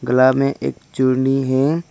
कला में एक चुन्नी है।